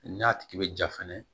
N'a tigi bɛ ja fɛnɛ